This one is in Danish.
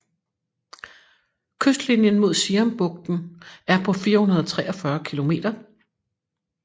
Kystlinjen mod Siambugten er på 443 kilometer